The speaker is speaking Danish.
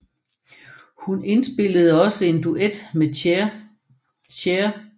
Hun indspillede også en duet med Cher